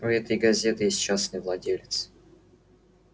у этой газеты есть частный владелец